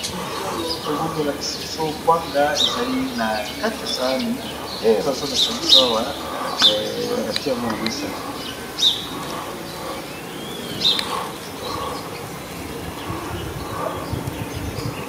Bilili oyo tomwendi balakisi biso okwanga ezali na kati ya saani nde bazolakisa biso awa ati yango na mesa.